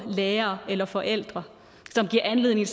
lærere eller forældre som giver anledning